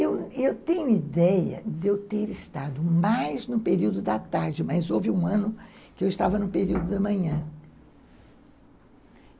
Eu eu tenho ideia de eu ter estado mais no período da tarde, mas houve um ano que eu estava no período da manhã.